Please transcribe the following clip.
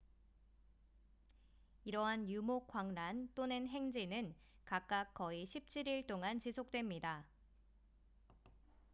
이러한 유목 광란 또는 행진은 각각 거의 17일 동안 지속됩니다